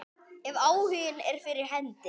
Ef áhuginn er fyrir hendi.